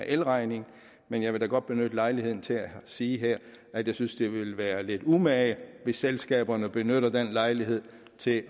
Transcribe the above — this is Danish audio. elregningen men jeg vil da godt benytte lejligheden til at sige her at jeg synes det ville være lidt umage hvis selskaberne benytter lejligheden til